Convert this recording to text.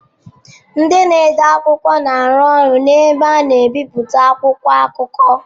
Ndị na-ede akwụkwọ na-arụ ọrụ na ebe a na-ebipụta akwụkwọ akụkọ.